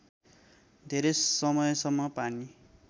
धेरै समयसम्म पानी